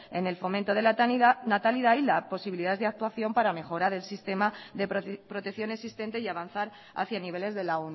en el fomento de la natalidad y las posibilidades de actuación para mejorar el sistema de protección existente y avanzar hacia niveles de la